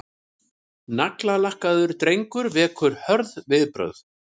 Naglalakkaður drengur vekur hörð viðbrögð